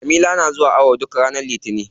Jamila na zuwa awon ciki duk ranar litinin.